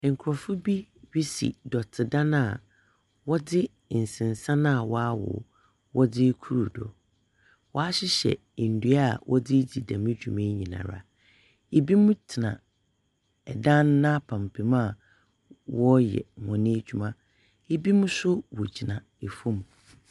Nkorɔfo bi resi dɔtedan a wɔdze nsensan a waawow, wɔdze rokuru do. Wɔahyehyɛ ndua a wɔdze ridzi dɛm dwumayi nyinara. Binom tsena dan n'apampem a wɔreyɛ hɔn edwuma. Binom nso wogyina famu.